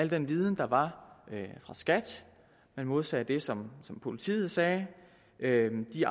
den viden der var fra skat man modsagde det som politiet sagde